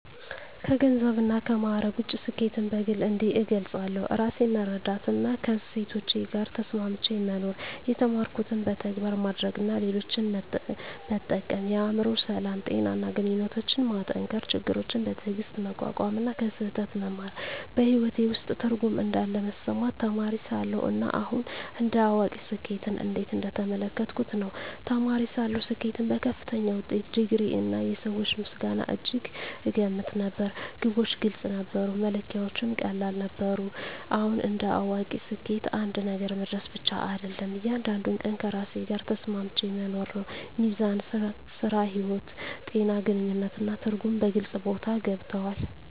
ከገንዘብና ከማዕረግ ውጭ፣ ስኬትን በግል እንዲህ እገልጻለሁ፦ ራሴን መረዳትና ከእሴቶቼ ጋር ተስማምቼ መኖር የተማርኩትን በተግባር ማድረግ እና ሌሎችን መጠቀም የአእምሮ ሰላም፣ ጤና እና ግንኙነቶችን መጠንከር ችግሮችን በትዕግስት መቋቋም እና ከስህተት መማር በሕይወቴ ውስጥ ትርጉም እንዳለ መሰማቴ ተማሪ ሳለሁ እና አሁን እንደ አዋቂ ስኬትን እንዴት እየተመለከትኩ ነው? ተማሪ ሳለሁ ስኬትን በከፍተኛ ውጤት፣ ዲግሪ፣ እና የሰዎች ምስጋና እጅግ እገመት ነበር። ግቦች ግልጽ ነበሩ፣ መለኪያዎቹም ቀላል ነበሩ። አሁን እንደ አዋቂ ስኬት አንድ ነገር መድረስ ብቻ አይደለም፤ እያንዳንዱን ቀን ከራሴ ጋር ተስማምቼ መኖር ነው። ሚዛን (ሥራ–ሕይወት)፣ ጤና፣ ግንኙነት እና ትርጉም በግልጽ ቦታ ገብተዋል።